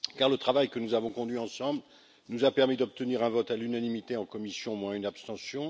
Le travail que nous avons conduit ensemble nous a permis d'obtenir un vote à l'unanimité en commission, moins une abstention.